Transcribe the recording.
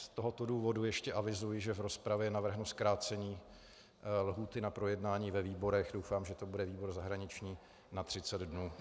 Z tohoto důvodu ještě avizuji, že v rozpravě navrhnu zkrácení lhůty na projednání ve výborech, doufám, že to bude výbor zahraniční, na 30 dnů.